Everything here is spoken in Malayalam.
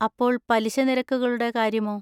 അപ്പോൾ പലിശ നിരക്കുകളുടെ കാര്യമോ?